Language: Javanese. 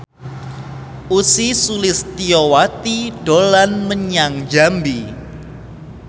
Ussy Sulistyawati dolan menyang Jambi